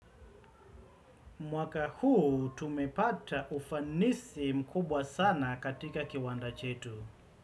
Mwaka huu tumepata ufanisi mkubwa sana katika kiwanda chetu.